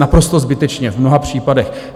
Naprosto zbytečně v mnoha případech.